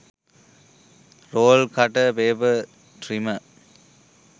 roll cutter paper trimmer